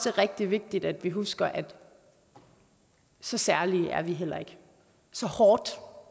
er rigtig vigtigt at vi husker at så særlige er vi heller ikke så hårdt